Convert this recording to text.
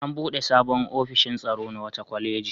An buɗe sabon ofishin tsaro na wata kwaleji.